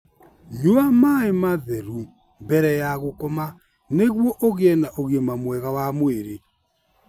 Nyua maĩ matheru mbere ya gũkoma nĩguo ũgĩe na ũgima mwega wa mwĩrĩ.